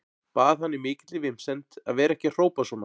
Bað hann í mikilli vinsemd að vera ekki að hrópa svona.